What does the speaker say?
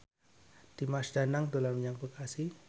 Dimas Danang dolan menyang Bekasi